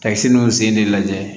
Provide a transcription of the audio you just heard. Ka siniw sen de lajɛ